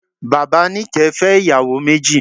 Bàbá Níkẹ̀ẹ́ fẹ́ ìyàwó méjì.